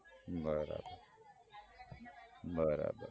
બરાબર